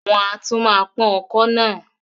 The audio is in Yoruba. Wọ́n á tó pọ́n ọkọ́ náà